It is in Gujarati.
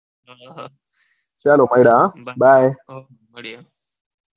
ચાલો ભાયડા હા bye.